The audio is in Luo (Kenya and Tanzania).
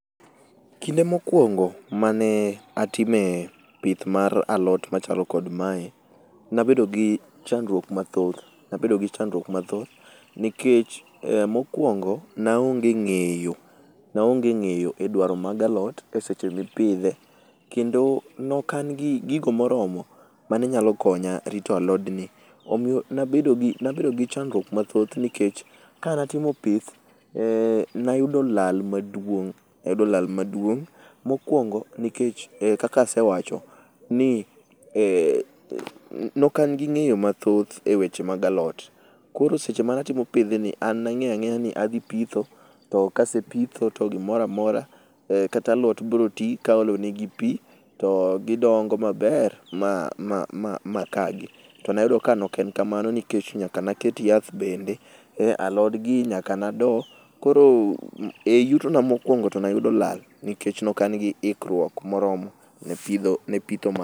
Kinde mokuongo mane atime pith mar alot machalo kod mae, ne abedo gi chandruok mathoth. Nikech mokuongo, ne aonge ng'eyo, naonge ng'eyo edwaro mag alot e seche mipidhe, kendo ne ok an gi gigo moromo mane nyalo konya rito alodni. Omiyo ne abedo gi nabedo gi chandruok mathoth nikech kane atimo pith, nayudo lal maduong' nayudo lal maduong' mokuongo nikech kaka asewacho ni ee ne ok an gi ng'eyo mathoth eweche mag alot. Koro seche mane atimo pidhni an ne ang'eyo ang'eya nadhi pitho to kase pitho to gimoro amora kata alot biro ti kaolo negi pi to gidongo maber ma maa makagi. To nayudo kaok en kamano to nyaka ne aket yath bende ealot gi , nyaka ne ado. Koro e yutona mokuongo to ne ayudo lal nikech ne ok an gi ikruok moromo ne pidho, ne pitho.